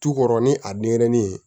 Tu kɔrɔ ni a denyɛrɛnin